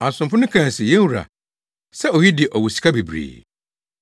“Asomfo no kae se, ‘Yɛn wura, sɛ oyi de ɔwɔ sika bebree!’